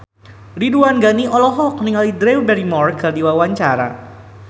Ridwan Ghani olohok ningali Drew Barrymore keur diwawancara